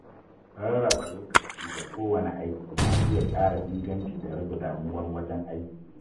Rarraba lokaci ga kowanne aiki na iya ƙara inganci da rage damuwar wajen aiki